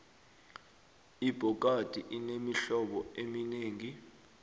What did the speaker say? ibhokadi inemihlobo eminengi